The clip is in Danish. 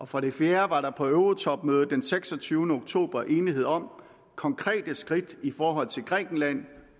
for det fjerde var der på eurotopmødet den seksogtyvende oktober enighed om konkrete skridt i forhold til grækenland